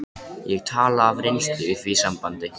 Ég tala af reynslu í því sambandi.